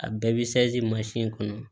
A bɛɛ bɛ kɔnɔ